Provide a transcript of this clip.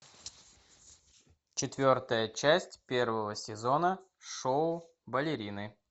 четвертая часть первого сезона шоу балерины